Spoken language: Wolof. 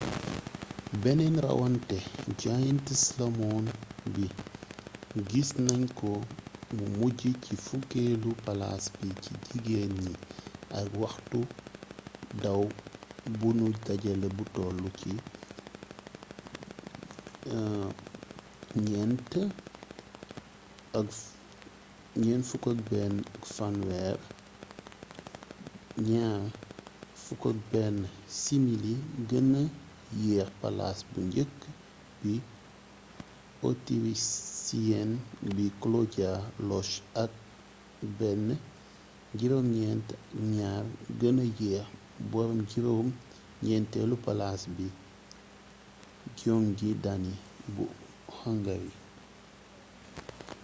beneen rawannteem giant slalom bi gis nan ko mu mujj ci fukkeelu palaas bi ci jigéen ñi ak waxtu daw bu nu dajale bu toll ci 4:41.30 2:11. simili gëna yeex palaas bu njëkk bi autirisiyen bi claudia loesch ak 1:09.02 gëna yeex boroom juróom ñenteelu palaas bi gyöngyi dani bu hungary